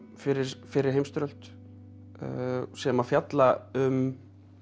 fyrri fyrri heimsstyrjöld sem að fjalla um